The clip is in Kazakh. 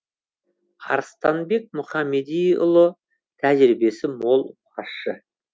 арыстанбек мұхамедиұлы тәжірибесі мол басшы